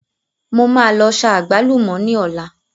Mo máa lọ sa àgbálùmọ̀ ní ọlá.